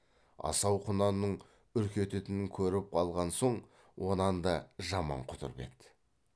асау құнанның үркететінін көріп алған соң онан да жаман құтырып еді